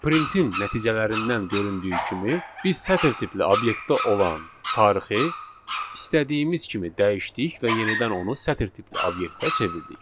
Printin nəticələrindən göründüyü kimi, biz sətr tipli obyektdə olan tarixi istədiyimiz kimi dəyişdik və yenidən onu sətr tipli obyektə çevirdik.